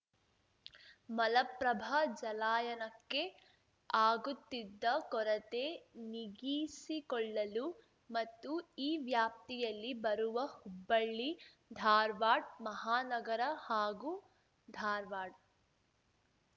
ಮಲಪ್ರಭಾ ಜಲಾಯನಕ್ಕೆ ಆಗುತ್ತಿದ್ದ ಕೊರತೆ ನಿಗೀಸಿಕೊಳ್ಳಲು ಮತ್ತು ಈ ವ್ಯಾಪ್ತಿಯಲ್ಲಿ ಬರುವ ಹುಬ್ಬಳ್ಳಿಧಾರ್ವಾಡ್ ಮಹಾನಗರ ಹಾಗೂ ಧಾರ್ವಾಡ್